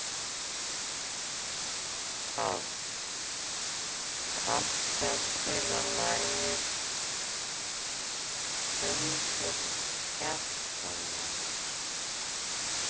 Páll, kanntu að spila lagið „Söngur fjallkonunnar“?